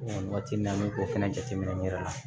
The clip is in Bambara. nin waati nin an bɛ k'o fɛnɛ jateminɛ n yɛrɛ la